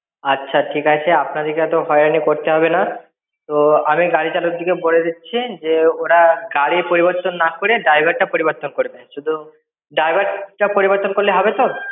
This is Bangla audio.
আচ্ছা ঠিক আছে, আপনাদেরকে এত হয়রানি করতে হবে না। তো আমি গাড়ি চালকটাকে বলে দিচ্ছি। যে ওরা গাড়ি পরিবর্তন না করে, driver পরিবর্তন করে দেয় শুধু। Driver টা পরিবর্তন করলে হবে তো?